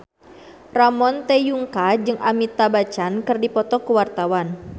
Ramon T. Yungka jeung Amitabh Bachchan keur dipoto ku wartawan